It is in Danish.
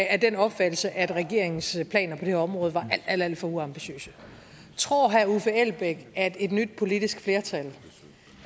af den opfattelse at regeringens planer på det her område var alt alt for uambitiøse tror herre uffe elbæk at et nyt politisk flertal